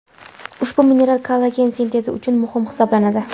Ushbu mineral kollagen sintezi uchun muhim hisoblanadi.